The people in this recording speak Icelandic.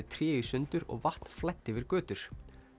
tré í sundur og vatn flæddi yfir götur